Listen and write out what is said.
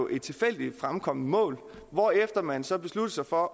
et tilfældigt fremkommet mål hvorefter man så besluttede sig for